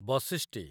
ବଶିଷ୍ଟି